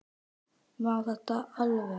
Má þetta alveg?